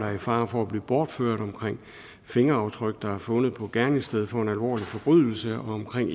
er i fare for at blive bortført om fingeraftryk der er fundet på et gerningssted for en alvorlig forbrydelse og omkring